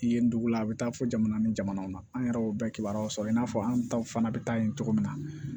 Yen ndugula a bɛ taa fo jamana ni jamanaw na an yɛrɛw bɛɛ kibaruyaw sɔrɔ i n'a fɔ an taw fana bɛ taa yen cogo min na